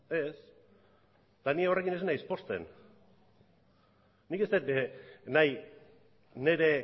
ez eta ni jorrekin ez naiz pozten nik ez dut nahi nire